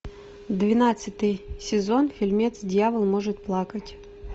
двенадцатый сезон фильмец дьявол может плакать